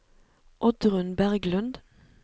Oddrun Berglund